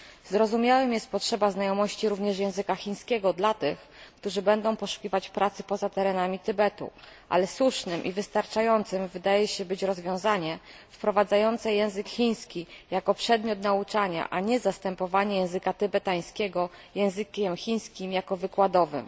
Zrozumiałym jest potrzeba znajomości również języka chińskiego dla tych, którzy będą poszukiwać pracy poza terenami Tybetu, ale słusznym i wystarczającym wydaje się być rozwiązanie wprowadzające język chiński jako przedmiot nauczania, a nie zastępowanie języka tybetańskiego językiem chińskim jako wykładowym.